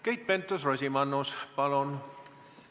Keit Pentus-Rosimannus, palun!